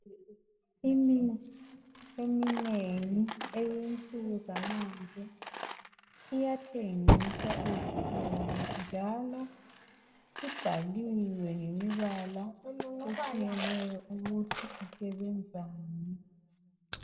Imithi eminengi eyensuku zamanje iyathengiswa ezitolo. Njalo ibhaliwe ngemibala etshiyeneyo ukuthi isebenzani .